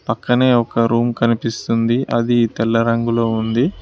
పక్కనే ఒక రూమ్ కనిపిస్తుంది అది తెల్ల రంగులో ఉంది.